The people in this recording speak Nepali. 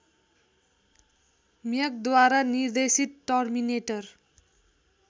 म्यगद्वारा निर्देशित टर्मिनेटर